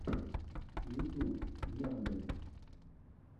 ютьюб яндель